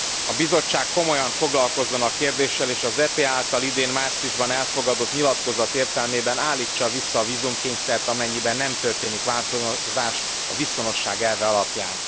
A Bizottság komolyan foglalkozzon a kérdéssel, és az EP által idén márciusban elfogadott nyilatkozat értelmében állítsa vissza a vízumkényszert, amennyiben nem történik változás a viszonosság elve alapján.